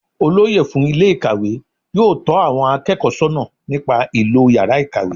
Olóyè fún Ilé ìkàwé yóò tó àwon akéèkó sónà nípa ìlò yàrá ìkàwé